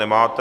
Nemáte.